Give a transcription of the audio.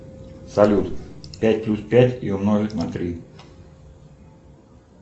салют пять плюс пять и умножить на три